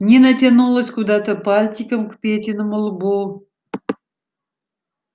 нина тянулась куда-то пальчиком к петиному лбу